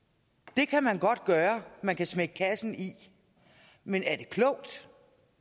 det kan man godt gøre man kan smække kassen i men er det klogt